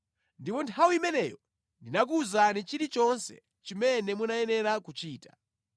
Ndipo nthawi imeneyo ndinakuwuzani chilichonse chimene munayenera kuchita.